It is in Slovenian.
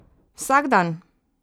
Vsak dan!